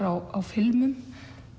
á filmum